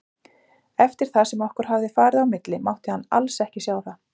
Eftir það sem okkur hafði farið á milli mátti hann alls ekki sjá það.